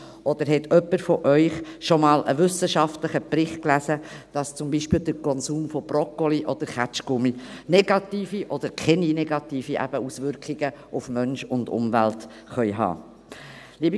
Oder hat jemand von Ihnen schon einmal einen wissenschaftlichen Bericht gelesen, dass zum Beispiel der Konsum von Broccoli oder Kaugummi negative oder eben keine negativen Auswirkungen auf Mensch und Umwelt haben kann?